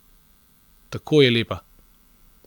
Tako je lepa!